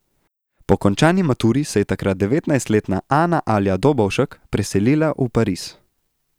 Po končani maturi se je takrat devetnajstletna Ana Alja Dobovšek preselila v Pariz.